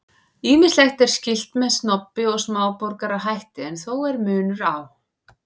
Ýmislegt er skylt með snobbi og smáborgarahætti en þó er munur á.